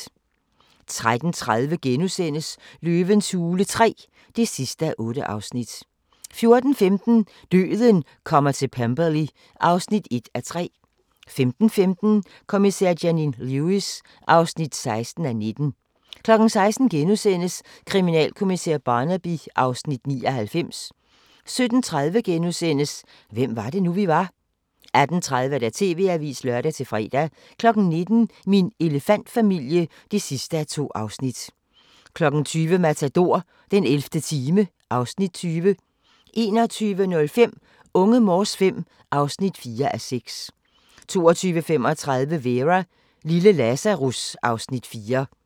13:30: Løvens hule III (8:8)* 14:15: Døden kommer til Pemberley (1:3) 15:15: Kommissær Janine Lewis (16:19) 16:00: Kriminalkommissær Barnaby (Afs. 99)* 17:30: Hvem var det nu, vi var? * 18:30: TV-avisen (lør-fre) 19:00: Min elefantfamilie (2:2) 20:00: Matador - den 11. time (Afs. 20) 21:05: Unge Morse V (4:6) 22:35: Vera: Lille Lazarus (Afs. 4)